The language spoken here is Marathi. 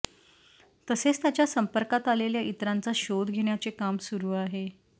तसेच त्याच्या संपर्कात आलेल्या इतरांचा शोध घेण्याचे काम सुरू आहे